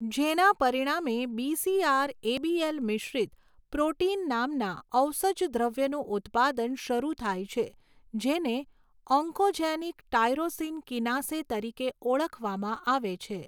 જેના પરિણામે BCR ABL મિશ્રિત પ્રોટિન નામના ઔસજદ્રવ્યનું ઉત્પાદન શરૂ થાય છે જેને ઓન્કોજેનિક ટાયરોસિન કિનાસે તરીકે ઓળખવામાં આવે છે.